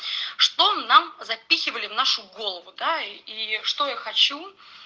что нам запихивали в нашу голову да и что я хочу